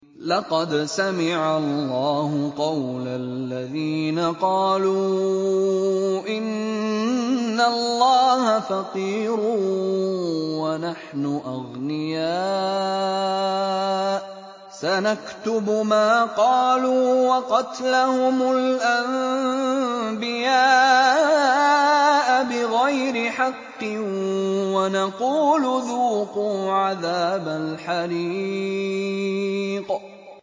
لَّقَدْ سَمِعَ اللَّهُ قَوْلَ الَّذِينَ قَالُوا إِنَّ اللَّهَ فَقِيرٌ وَنَحْنُ أَغْنِيَاءُ ۘ سَنَكْتُبُ مَا قَالُوا وَقَتْلَهُمُ الْأَنبِيَاءَ بِغَيْرِ حَقٍّ وَنَقُولُ ذُوقُوا عَذَابَ الْحَرِيقِ